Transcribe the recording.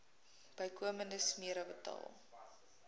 bykomende smere betaal